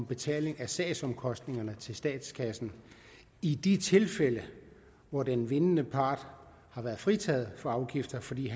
betaling af sagsomkostningerne til statskassen i de tilfælde hvor den vindende part har været fritaget for afgifter fordi